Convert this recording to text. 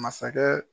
Masakɛ